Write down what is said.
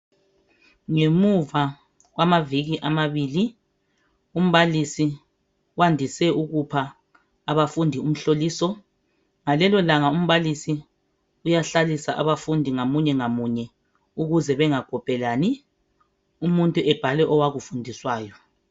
Ngemuva kwamaviki amabili ,umbalisi wandise ukupha abafundi umhloliso .Ngalelo langa umbalisi uyahlalisa abafundi ngamunye ngamunye ukuze bengakhophelani . Umuntu ebhale owakufundiswayo .